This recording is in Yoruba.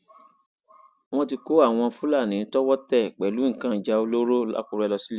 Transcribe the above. wọn ti kó àwọn fúlàní tọwọ tẹ pẹlú nǹkan ìjà olóró làkúrẹ lọ síléẹjọ